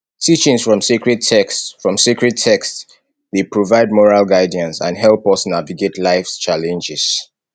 teachings from sacred texts from sacred texts dey provide moral guidance and help us navigate lifes challenges